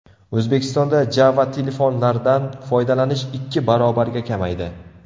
O‘zbekistonda Java-telefonlardan foydalanish ikki barobarga kamaydi.